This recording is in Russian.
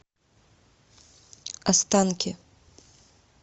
останки